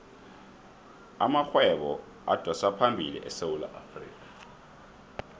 amarhwebo adosaphambili esewula afrikha